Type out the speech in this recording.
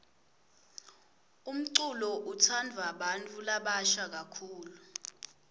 umculo utsandvwa bantfu labasha kakhulu